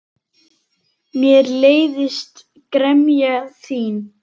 Mér leiðist gremja þín.